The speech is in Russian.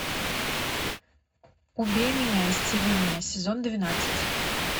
убей меня исцели меня сезон двенадцать